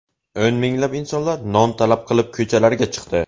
O‘n minglab insonlar non talab qilib ko‘chalarga chiqdi.